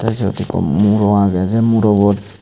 tey siyot ikko muro agey sey murobot.